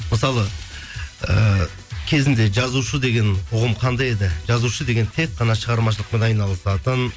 мысалы ыыы кезінде жазушы деген ұғым қандай еді жазушы деген тек қана шығармашылықпен айналысатын